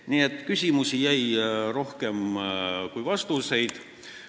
Nii et küsimusi jäi rohkem kui vastuseid.